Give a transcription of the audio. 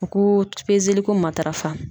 U ko ko matarafa